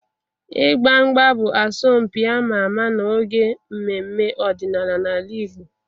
Ịgba mgba bụ asọmpi ama ama n'oge mmemme ọdịnala n'ala Igbo.